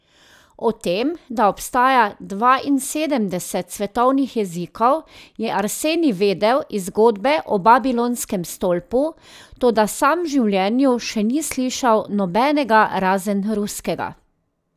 O tem, da obstaja dvainsedemdeset svetovnih jezikov, je Arsenij vedel iz zgodbe o babilonskem stolpu, toda sam v življenju še ni slišal nobenega razen ruskega.